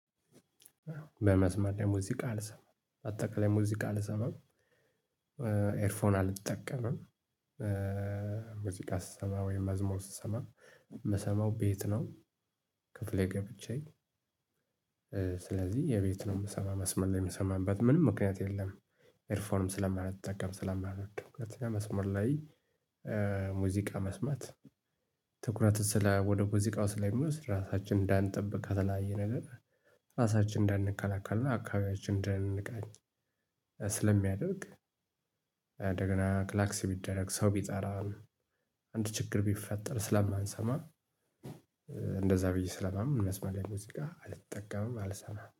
በመስመር ላይ ሙዚቃ አልሰማም አጠቃላይ ሙዚቃ አልሰማም ኤርፎን አልጠቀምም ሙዚቃ ስሰማ ወይም መዝሙር ስሰማ የምሰማው ቤት ነው። ክፍሌ ገብቼ ስለዚህ የቤት ነው የምሰማው መስመር ላይ የምሰማበት ምንም ምክንያት የለም። ኤርፎንም ስለማልጠቀም ስለማልወዘው። መስመር ላይ ሙዚቃ መስመት ትኩረትን ስለ ወደ ሙዚቃው ስለ ሚወስድ ራሳችንን እንዳንጠብቅ ከተለያየ ነገር ራሳችንን እንዳንከላከልና አካባቢያችንን እንዳንቃኝ ስለሚያደርግ። እንደገና ክላክስ ቢደረግ ሰው ቢጠራን አንድ ችግር ቢፈጠር ስለማንሰማ። እንደዛ ብዬ ስለማምን መስመር ላይ ሙዚቃ አልጠቀምም አልሰማም